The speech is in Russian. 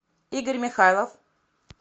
игорь михайлов